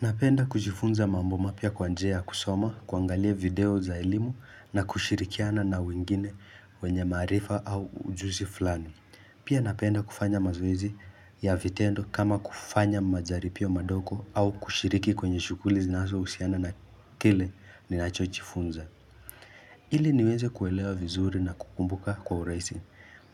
Napenda kujifunza mambo mapya kwa njia ya kusoma, kuangalia video za elimu na kushirikiana na wengine wenye maarifa au ujuzi flani. Pia napenda kufanya mazoezi ya vitendo kama kufanya majaripio madoko au kushiriki kwenye shukuli zinasousiana na kile ninacho chifunza. Ili niweze kuelewa vizuri na kukumbuka kwa uraisi.